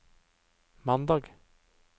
mandag